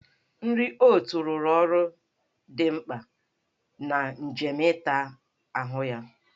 Nri oot rụrụ ọrụ dị mkpa na njem ịta ahụ ya.